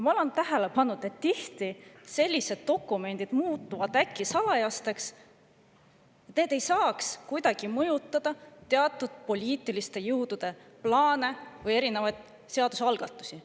Ma olen tähele pannud, et tihti muutuvad sellised dokumendid äkki salajaseks, et nad ei saaks kuidagi mõjutada teatud poliitiliste jõudude plaane või erinevaid seadusalgatusi.